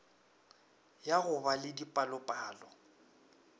ya go ba le dipalopalo